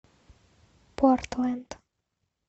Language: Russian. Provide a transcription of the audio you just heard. портленд